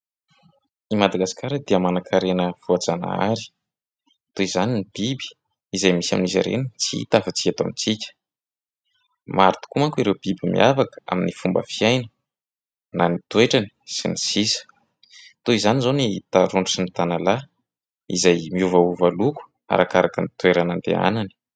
I Madagasikara dia manan-karena voajanahary. Toy izany ny biby izay misy amin'izy ireny tsy hita afa-tsy eto amintsika. Maro tokoa manko ireo biby miavaka amin'ny fomba fiaina, na ny toetrany sy ny sisa. Toy izany izao ny tarondro sy ny tanalahy, izay miovaova loko, arakaraka ny toerana andehanany.